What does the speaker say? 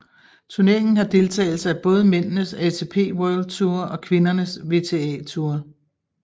Turneringen har deltagelse af både mændenes ATP World Tour og kvindernes WTA Tour